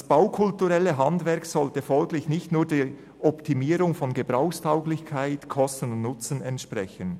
Das baukulturelle Handwerk sollte folglich nicht nur der Optimierung von Gebrauchstauglichkeit, Kosten und Nutzen entsprechen.